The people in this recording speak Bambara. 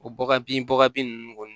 O baga bin baga bin nunnu kɔni